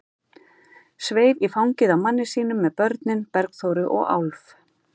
Sveif í fangið á manni sínum með börnin, Bergþóru og Álf.